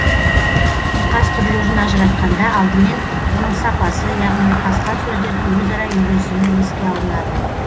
ұйқас түрлерін ажыратқанда алдымен оның сапасы яғни ұйқасқан сөздердің өзара үйлесімі еске алынады